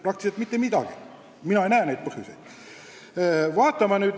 Praktiliselt seda ei ole, mina ei näe ühtki põhjust.